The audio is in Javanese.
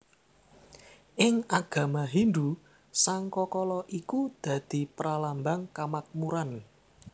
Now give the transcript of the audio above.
Ing agama Hindhu sangkakala iku dadi pralambang kamakmuran